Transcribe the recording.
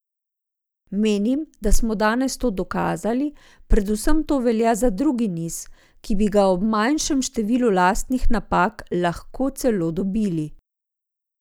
Mislim, da smo danes to dokazali, predvsem to velja za drugi niz, ki bi ga ob manjšem številu lastnih napak lahko celo dobili.